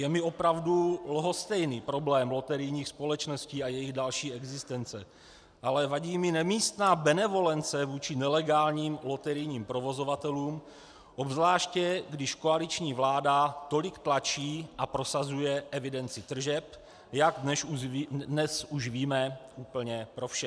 Je mi opravdu lhostejný problém loterijních společností a jejich dalších existence, ale vadí mi nemístná benevolence vůči nelegálním loterijním provozovatelům obzvláště, když koaliční vláda tolik tlačí a prosazuje evidenci tržeb, jak dnes už víme, úplně pro vše.